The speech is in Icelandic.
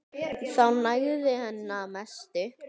Það nægði henni að mestu.